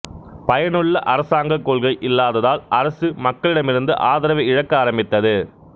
பயனுள்ள அரசாங்க கொள்கை இல்லாததால் அரசு மக்களிடமிருந்து ஆதரவை இழக்க ஆரம்பித்தது